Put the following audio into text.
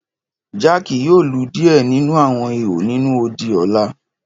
Jack yoo lu diẹ ninu awọn ihò ninu odi ọla.